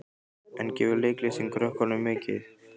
En gefur leiklistin krökkunum mikið?